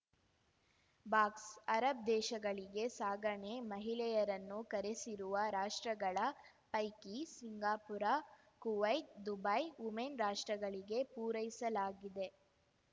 ಬಾಕ್ಸ್ಅರಬ್‌ ದೇಶಗಳಿಗೆ ಸಾಗಣೆ ಮಹಿಳೆಯರನ್ನು ಕರೆಸಿರುವ ರಾಷ್ಟ್ರಗಳ ಪೈಕಿ ಸಿಂಗಾಪುರ ಕುವೈತ್‌ ದುಬೈ ವುಮೆನ್‌ ರಾಷ್ಟ್ರಗಳಿಗೆ ಪೂರೈಸಲಾಗಿದೆ